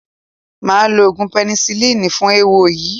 Màá lo oògùn pẹ́nisilínì fún eéwo yìí.